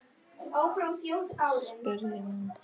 spurði hún.